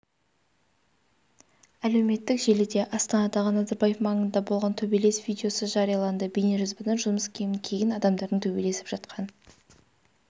әлеуметтік желіде астанадағы назарбаев маңында болған төбелес видеосы жарияланды бейнежазбадан жұмыс киімін киген адамдардың төбелесіп жатқан